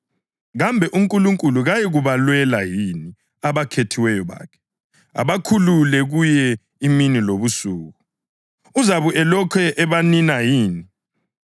Kambe uNkulunkulu kayikubalwela yini abakhethiweyo bakhe, abakhuleka kuye imini lobusuku? Uzabe elokhu ebanina yini?